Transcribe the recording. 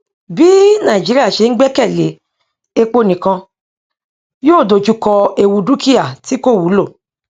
bí nàìjíríà ṣe ń gbẹkèlé epo nìkan yóò dojú kọ ewu dúkíá tí kò wúlò